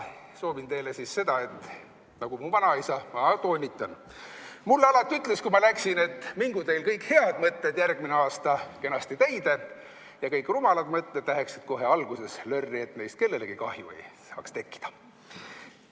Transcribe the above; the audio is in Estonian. Soovin teile siis seda, mida mu vanaisa, ma toonitan, mulle alati ütles, kui ma läksin: mingu teil kõik head mõtted järgmine aasta kenasti täide ja kõik rumalad mõtted kohe alguses lörri, et neist kellegile kahju ei saaks tekkida.